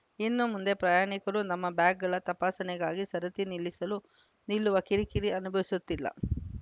ಇನ್ನು ಮುಂದೆ ಪ್ರಯಾಣಿಕರು ನಮ್ಮ ಬ್ಯಾಗ್‌ಗಳ ತಪಾಸಣೆಗಾಗಿ ಸರತಿ ನಿಲ್ಲಿಸಲು ನಿಲ್ಲುವ ಕಿರಿಕಿರಿ ಅನುಭವಿಸುತ್ತಿಲ್ಲ